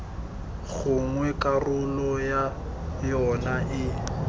gongwe karolo ya yona e